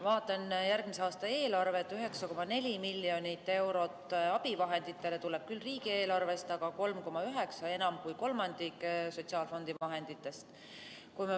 Vaatan järgmise aasta eelarvet: 9,4 miljonit eurot abivahenditele tuleb küll riigieelarvest, aga 3,9 miljonit ehk enam kui kolmandik tuleb sotsiaalfondi vahenditest.